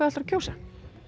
ætlar að kjósa